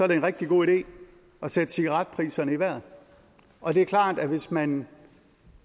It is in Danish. det en rigtig god idé at sætte cigaretpriserne i vejret og det er klart at hvis man